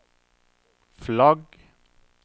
flagg